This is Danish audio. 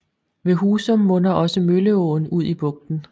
Ved Husum munder også Mølleåen ud i bugten